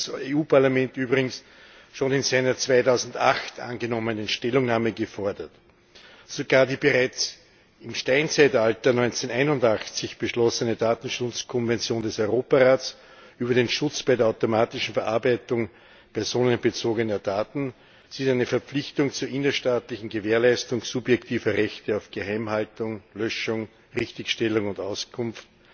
Das hat das Europäische Parlament übrigens schon in seiner 2008 angenommenen Stellungnahme gefordert. Sogar die bereits im Steinzeitalter, 1981, beschlossene Datenschutzkonvention des Europarats über den Schutz bei der automatischen Verarbeitung personenbezogener Daten sieht eine Verpflichtung zur innerstaatlichen Gewährleistung subjektiver Rechte auf Geheimhaltung, Löschung, Richtigstellung und Auskunft